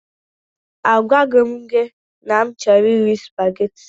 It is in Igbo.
A gwaghi m gị na a chọrọ m iri supageti.